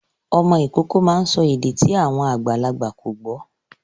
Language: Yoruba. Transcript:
Ọmọ Ìkọkọ má ń sọ èdè tí àwọn àgbàlagbà kọ gbó.